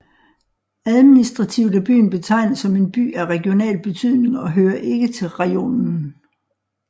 Administrativt er byen betegnet som en By af regional betydning og hører ikke til rajonen